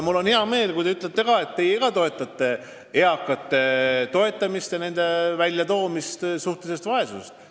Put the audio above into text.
Mul on hea meel, kui ka teie peate õigeks eakate toetamist ja nende väljaaitamist suhtelisest vaesusest.